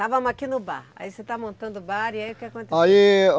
Estávamos aqui no bar, aí você está montando o bar e aí o que aconteceu? Aí